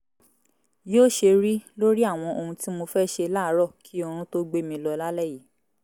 yóò ṣe rí lórí àwọn ohun tí mo fẹ́ ṣe láàárọ̀ kí oorun tó gbé mi lọ lálẹ́ yìí